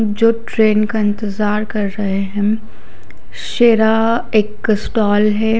जो ट्रेन का इंतजार कर रहे है शेरा एक स्टॉल है।